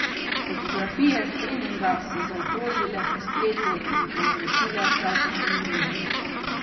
Fotografije s treninga so zaokrožile po spletu in povzročile pravcato norijo.